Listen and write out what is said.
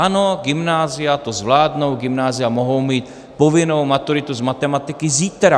Ano, gymnázia to zvládnou, gymnázia mohou mít povinnou maturitu z matematiky zítra.